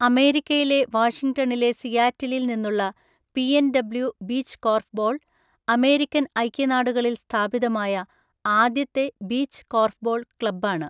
അമേരിക്കയിലെ വാഷിങ്ടണിലെ സിയാറ്റിലിൽ നിന്നുള്ള പിഎൻഡബ്ല്യു ബീച്ച് കോർഫ്ബോൾ അമേരിക്കൻ ഐക്യനാടുകളിൽ സ്ഥാപിതമായ ആദ്യത്തെ ബീച്ച് കോർഫ്ബോൾ ക്ലബ്ബാണ്.